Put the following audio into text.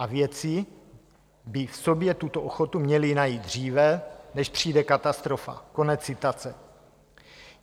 A vědci by v sobě tuto ochotu měli najít dříve, než přijde katastrofa.